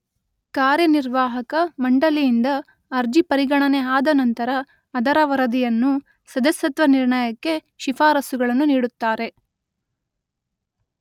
ಕಾರ್ಯನಿರ್ವಾಹಕ ಮಂಡಳಿಯಿಂದ ಅರ್ಜಿ ಪರಿಗಣನೆ ಆದ ನಂತರ ಅದರ ವರದಿಯನ್ನು ಸದಸ್ಯತ್ವ ನಿರ್ಣಯಕ್ಕೆ ಶಿಫಾರಸ್ಸುಗಳನ್ನು ನೀಡುತ್ತಾರೆ